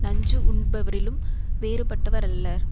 நஞ்சு உண்பவரிலும் வேறுபட்டவர் அல்லர்